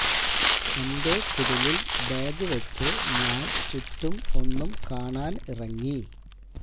എന്റെ കുടിലില് ബാഗ് വെച്ച് ഞാന് ചുറ്റും ഒന്നും കാണാന് ഇറങ്ങി